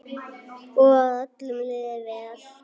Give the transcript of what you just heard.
Og að öllum liði vel.